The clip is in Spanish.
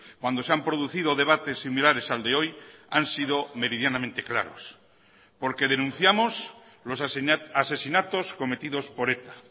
cuando se han producido debates similares al de hoy han sido meridianamente claros porque denunciamos los asesinatos cometidos por eta